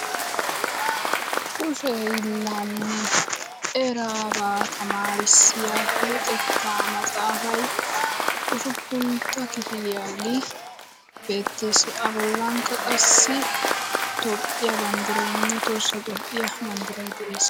Kushe hiillaanne eraabaa tamaarissiya luxettaa maxaafay usuppuntta kifiliyage beettes. Abollankka qassi tophphiya banddirayinne tohossa tophphiya banddiray de'es.